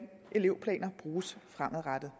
elevplaner bruges fremadrettet